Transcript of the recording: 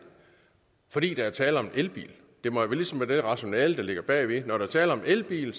fordi der er tale om en elbil det må ligesom være det rationale der ligger bagved når der er tale om en elbil